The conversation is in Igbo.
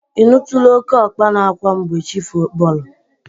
Ị nụtụla oke ọkpa na-akwa mgbe chi bọrọ?